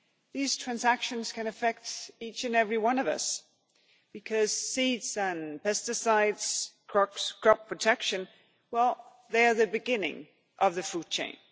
These transactions can affect each and every one of us because seeds and pesticides, crop protection, they are the beginning of the food chain.